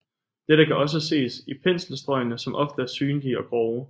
Dette kan også ses i penselstrøgene som ofte er synlige og grove